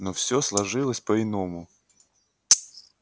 но все сложилось по иному